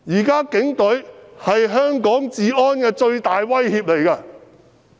警隊現在是香港治安的最大威脅。